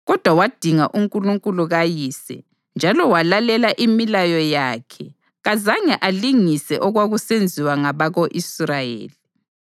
kodwa wadinga uNkulunkulu kayise njalo walalela imilayo yakhe kazange alingisele okwakusenziwa ngabako-Israyeli.